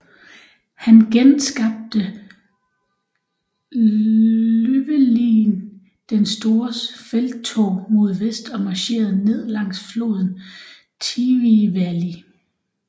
Han genskabte Llywelyn den Stores felttog mod vest og marcherede ned langs floden Tywi Valley